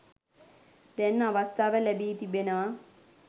දැන් අවස්ථාව ලැබී තිබෙනවා.